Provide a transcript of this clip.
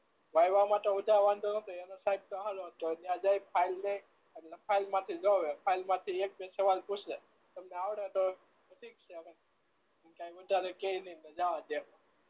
એનો વાંધો નતો એનો સાહેબ તો સારો હતો ય જઈ ને ફાઈલ દઈએ એટલે ફાઈલ માંથી જોવે ફાઈલ માંથી એક બે સવાલ પૂછે તમને આવડે તો ઠીક છે નકર કઈ વધારે કેય નહી જવા દે